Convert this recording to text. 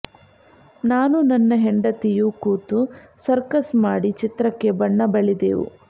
ನಾನೂ ನನ್ನ ಹೆಂಡತಿಯೂ ಕೂತು ಸರ್ಕಸ್ ಮಾಡಿ ಚಿತ್ರಕ್ಕೆ ಬಣ್ಣ ಬಳಿದೆವು